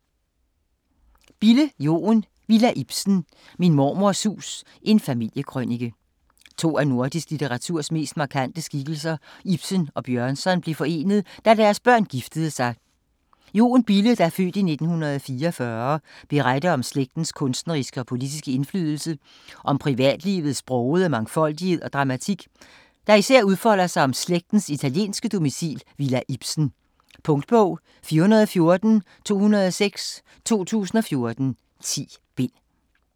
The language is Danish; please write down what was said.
Bille, Joen: Villa Ibsen: min mormors hus: en familiekrønike To af nordisk litteraturs mest markante skikkelser, Ibsen og Bjørnson, blev forenet da deres børn giftede sig. Joen Bille (f. 1944) beretter om slægtens kunstneriske og politiske indflydelse, og om privatlivets brogede mangfoldighed og dramatik, der især udfolder sig om slægtens italienske domicil Villa Ibsen. Punktbog 414206 2014. 10 bind.